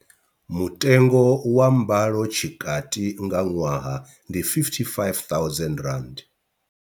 Mutengo wa mbalo tshikati nga ṅwaha ndi R55 000.